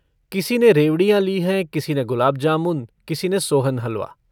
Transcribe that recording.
किसी ने रेवड़ियाँ ली हैं किसी ने गुलाब जामुन किसी ने सोहन हलवा।